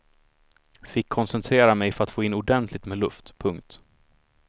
Fick koncentrera mig för att få in ordentligt med luft. punkt